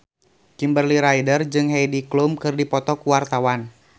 Kimberly Ryder jeung Heidi Klum keur dipoto ku wartawan